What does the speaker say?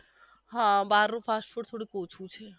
હા બહાર નું fast food થોડુંક ઓછુ છે